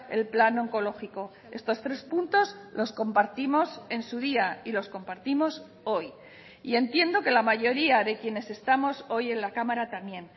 el plan oncológico estos tres puntos los compartimos en su día y los compartimos hoy y entiendo que la mayoría de quienes estamos hoy en la cámara también